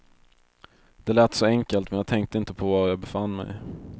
Det lät så enkelt men jag tänkte inte på var jag befann mig.